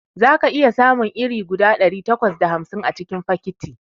Zaka iya samun iri guda ɗari takwas da hamsin a cikin fakiti